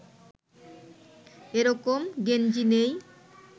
এ রকম গেঞ্জি নেই